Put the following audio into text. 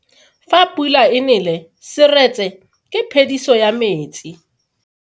Fa pula e nele seretse ke phediso ya metsi.